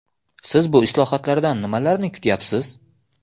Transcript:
Siz bu islohotlardan nimalarni kutyapsiz?